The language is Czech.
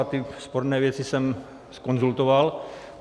A ty sporné věci jsem zkonzultoval.